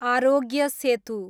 Aarogya Setu